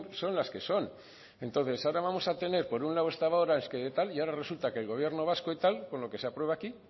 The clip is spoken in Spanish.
son las que son entonces ahora vamos a tener por un lado hasta ahora es que tal y ahora resulta que el gobierno vasco y tal con lo que se aprueba aquí